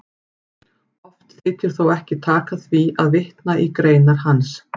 Oft þykir þó ekki taka því að vitna í greinar hans.